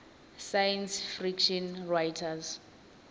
science fiction writers